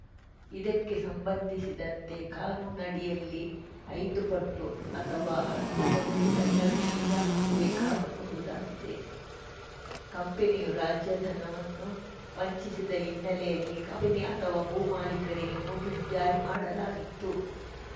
ಇದಕ್ಕೆ ಸಂಬಂಧಿಸಿದಂತೆ ಕಾನೂನಡಿಯಲ್ಲಿ ಐದುಪಟ್ಟು ಅಥವಾ ಹತ್ತುಪಟ್ಟು ದಂಡವಿಧಿಸಬೇಕಾಗಬಹುದಾಗಿದೆ ಕಂಪನಿಯೂ ರಾಜಧನವನ್ನು ವಂಚಿಸಿದ ಹಿನ್ನೆಲೆಯಲ್ಲಿ ಕಂಪನಿ ಅಥವಾ ಭೂ ಮಾಲೀಕರಿಗೆ ನೊಟೀಸ್‌ ಜಾರಿ ಮಾಡಲಾಗಿತ್ತು